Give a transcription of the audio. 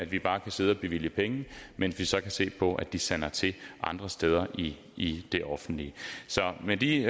vi bare kan sidde og bevilge penge mens vi så kan se på at de sander til andre steder i det offentlige så med de